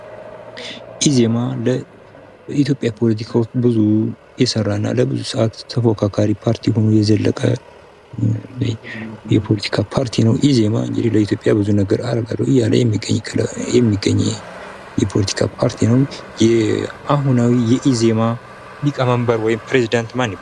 ኢዜማ በኢትዮጵያ ፖለቲካ ውስጥ ብዙ የሰራ እና ለብዙ ሰዓት ተፎካካሪ ፓርቲ ሆኖ የዘለቀ የፖለቲካ ፓርቲ ነው ። ኢዜማ እንግዲህ ለኢትዮጵያ ብዙ ነገር አደርጋለሁ እያለ የሚገኝ የፖለቲካ ፓርቲ ነው ። የአሁናዊ የኢዜማ ሊቀመንበር ወይም ፕሬዝዳንት ማን ይባላል ?